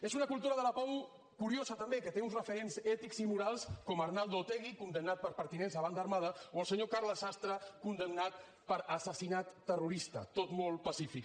és una cultura de la pau curiosa també que té uns referents ètics i morals com arnaldo otegi condemnat per pertinença a banda armada o el senyor carles sastre condemnat per assassinat terrorista tot molt pacífic